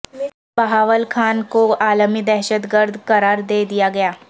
بہاول خان کو عالمی دہشت گرد قرار دے دیا گیا